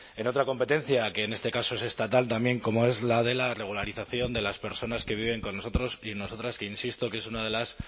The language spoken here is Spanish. en otra competencia que en este caso es estatal también como es la de la regularización de las personas que viven con nosotros y nosotras que insisto que es una de las